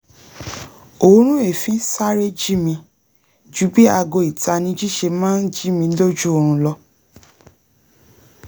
òórùn èéfín sáré jí mi ju bí aago ìtanijí ṣe máa ń jí mi lójú oorun lọ